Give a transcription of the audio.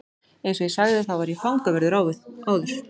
Eins og ég sagði þá var ég fangavörður áður.